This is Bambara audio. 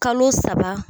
Kalo saba